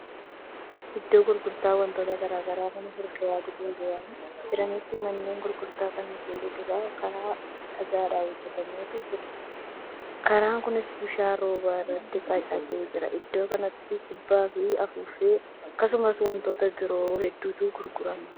Iddoo gurgurtaa wantoota garagaraa mana fuulduratti gurguramaa jiraniiti manneen gurgurtaa kana fuulduraan karaan dhagaadhan hojjatametu jira. karaan Kuni bishaan roobaa irratti qocatee jira. iddoo kanatti kubbaafi afuuffee akkasumas wantoota biroo hedduutu gurgurama.